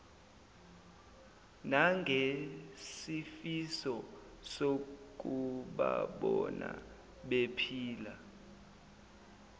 nangesifiso sokubabona bephila